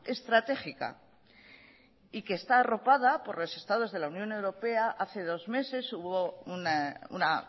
estratégica y que está arropada por los estados de la unión europea hace dos meses hubo una